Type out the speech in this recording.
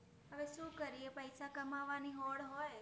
અવે સુ કરિયે પૈસા કમાવા નિ હોડ હોયે